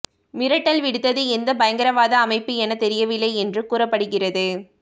மிரட்டல் விடுத்தது எந்த பயங்கரவாத அமைப்பு என தெரியவில்லை என்று கூறப்படுகிறது